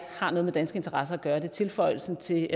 har noget med danske interesser at gøre det er tilføjelsen til